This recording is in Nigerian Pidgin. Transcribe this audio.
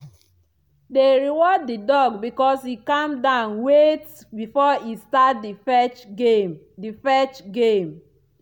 they reward the dog because e calm down wait before e start the fetch game. the fetch game.